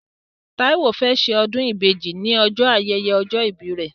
Táíwó fẹ́ ṣe ọdún ìbejì ní ọjọ́ ayẹyẹ ọjọ́ ìbí rẹ̀